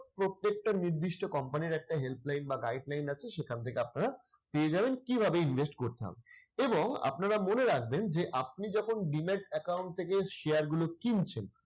প্রত্যেকটা নির্দিষ্ট company র একটা help line বা guide line আছে সেখান থেকে আপনারা পেয়ে যাবেন কিভাবে invest করতে হবে। এবং আপনারা মনে রাখবেন যে আপনি যখন demat account থেকে share গুলো কিনছেন